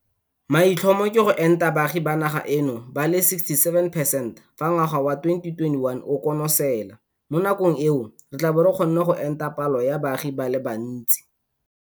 Maitlhomo ke go enta baagi ba naga eno ba le 67 percent fa ngwaga wa 2021 o konosela. Mo nakong eo re tla bo re kgonne go enta palo ya baagi ba le bantsi.